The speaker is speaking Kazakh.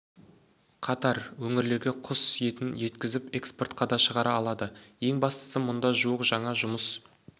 қатар өңірлерге құс етін жеткізіп экспортқа да шығара алады ең бастысы мұнда жуық жаңа жұмыс